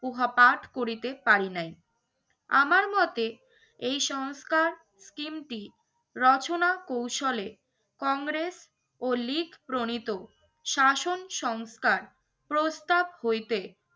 উহা উহাপাঠ করিতে পারি নাই। আমার মতে এই সংস্কার scheme টি রচনা কৌশলে কংগ্রেস ও লীগ প্রণিত শাসন সংস্কার প্রস্তাব হইতে